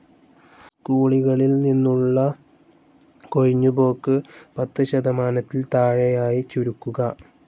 സ്കൂളികളിൽ നിന്നുള്ള കൊഴിഞ്ഞ് പോക്ക് പത്ത് ശതമാനത്തിൽ താഴെയായി ചുരുക്കുക.